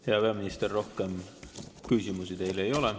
Hea peaminister, rohkem küsimusi teile ei ole.